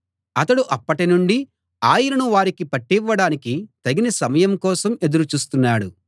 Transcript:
అతడు అప్పటి నుండి ఆయనను వారికి పట్టివ్వడానికి తగిన సమయం కోసం ఎదురు చూస్తున్నాడు